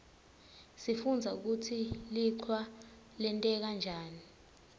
sifundza kutsi lichwa lenteka njani